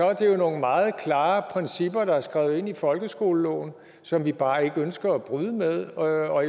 er det jo nogle meget klare principper der er skrevet ind i folkeskoleloven som vi bare ikke ønsker at bryde med og